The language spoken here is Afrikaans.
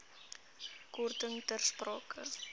korting ter sprake